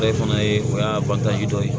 O yɛrɛ fana ye o y'a dɔ ye